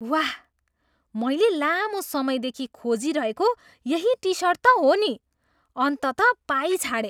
वाह! मैले लामो समयदेखि खोजिरहेको यही टिसर्ट त हो नि। अन्ततः पाइछाडेँ।